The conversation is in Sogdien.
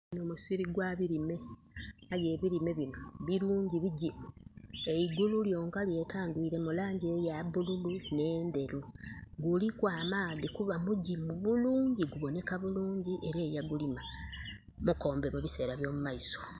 Gunho musiri gwa bilime, aye ebilime binho bilungi bigimu. Eigulu lyonka lyetangwiile mu langi eya bululu nh'endheru. Guliku amaadhi kuba mugimu bulungi gubonheka bulungi. Era eyagulima mukombe mu biseera eby'omumaiso.